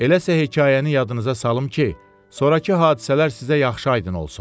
Elə isə hekayəni yadınıza salım ki, sonrakı hadisələr sizə yaxşı aydın olsun.